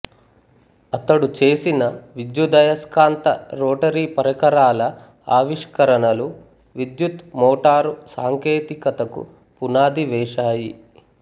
అతడు చేసిన విద్యుదయస్కాంత రోటరీ పరికరాల ఆవిష్కరణలు విద్యుత్ మోటారు సాంకేతికతకు పునాది వేశాయి